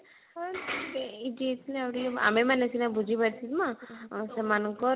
ହଁ ଆମେ ମାନେ ସିନା ବୁଝି ପାରୁଛେମା ସେମାନଙ୍କର